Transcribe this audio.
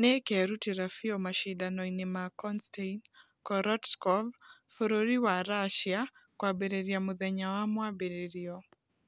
nĩĩkerutĩra biũ mashidano-inĩ ma konstain korotkov bũrũri wa russia kũambĩrĩria mũthenya wa mwambĩrĩrio.